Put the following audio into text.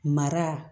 Mara